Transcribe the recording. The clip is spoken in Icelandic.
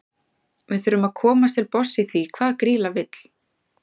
Við þurfum að komast til botns í því hvað Grýla vill.